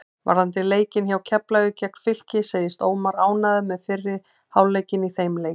Varðandi leikinn hjá Keflavík gegn Fylki segist Ómar ánægður með fyrri hálfleikinn í þeim leik.